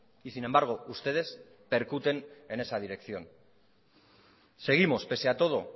y sin embargo ustedes percuten en esa dirección seguimos pese a todo